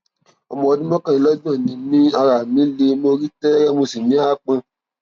ọmọ ọdún mọkànlélọgbọn ni mí ara mi le mo rí tẹẹrẹ mo sì ní aápọn